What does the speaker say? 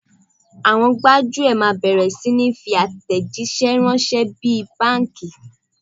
Àwọn gbájúẹ̀ máa bẹ̀rẹ̀ sí ni fi àtẹ̀jíṣẹ́ ránṣẹ́ bí i báńkà.